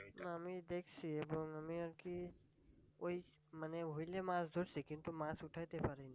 আমি দেখছি এবং আমি আর কি ওই মানে হুইলে মাছ ধরছি কিন্তু মাছ উঠাতে পারিনি